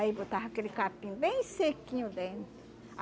Aí botava aquele capim bem sequinho dentro.